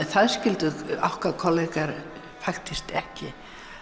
það skildu okkar kollegar faktískt ekki